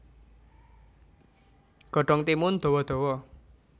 Godhong timun dawa dawa